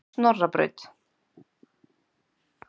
Snorrabraut